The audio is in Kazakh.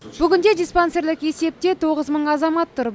бүгінде диспансерлік есепте тоғыз мың азамат тұр